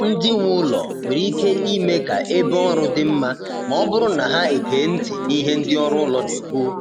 Ndị nwe ụlọ nwere ike ime ka ebe ọrụ dị mma ma ọ bụrụ na ha ege ntị n’ihe ndị ọrụ ụlọ na-ekwu.